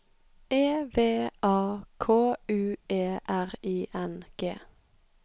E V A K U E R I N G